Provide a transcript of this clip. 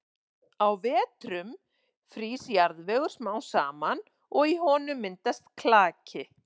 Á vetrum frýs jarðvegur smám saman og í honum myndast klaki.